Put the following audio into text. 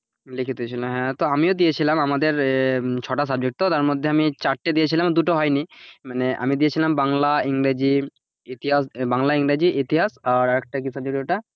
লিখিত ছিল হ্যাঁ, তো আমিও দিয়েছিলাম আমাদের ছটা subject তো তার ধম আমি চারটে দিয়েছিলাম দুটো হয়নি মানে আমি দিয়েছিলাম বাংলা ইংরেজি ইতিহাস বাংলা-ইংরেজি ইতিহাস আর আর একটা কি subject ওটা আর আর একটা কি subject ওটা,